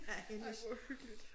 Ej hvor hyggeligt